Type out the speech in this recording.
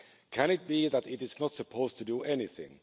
Can it be that it is not supposed to do anything?